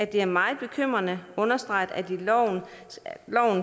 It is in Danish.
det er meget bekymrende og understreget at loven